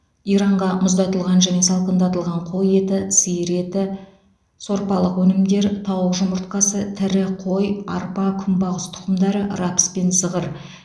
иранға мұздатылған және салқындатылған қой еті сиыр еті сорпалық өнімдер тауық жұмыртқасы тірі қой арпа күнбағыс тұқымдары рапс пен зығыр